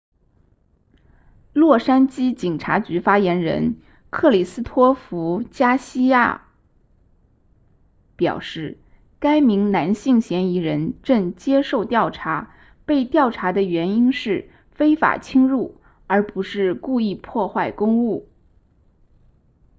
洛杉矶警察局发言人克里斯托弗加西亚 christopher garcia 表示该名男性嫌疑人正接受调查被调查的原因是非法侵入而不是故意破坏公物